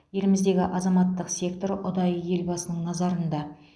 еліміздегі азаматтық сектор ұдайы елбасының назарында